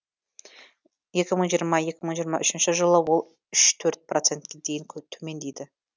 екі мың жиырма екі мың жиырма үшінші жылы ол үш төрт процентке дейін төмендейді